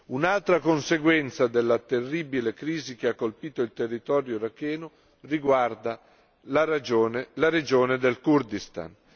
Un'altra conseguenza della terribile crisi che ha colpito il territorio iracheno riguarda la regione del Kurdistan.